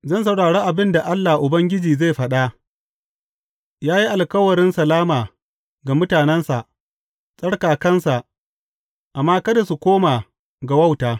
Zan saurari abin da Allah Ubangiji zai faɗa; ya yi alkawarin salama ga mutanensa, tsarkakansa, amma kada su koma ga wauta.